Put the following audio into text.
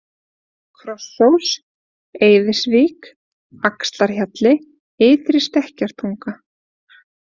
Krossós, Eiðisvík, Axlarhjalli, Ytri Stekkjartunga